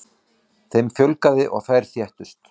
Þeim fjölgaði og þær þéttust.